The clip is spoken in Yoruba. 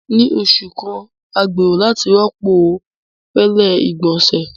Ni oṣu kan, a gbero lati rọpo fẹlẹ igbonse.